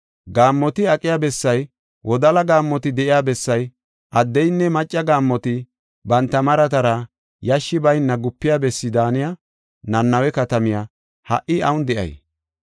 Gaammoti aqiya bessay, wodala gaammoti de7iya bessay, addeynne macca gaammoti banta maratara yashshi bayna gupiya bessi daaniya Nanawe katamay ha77i awun de7ii?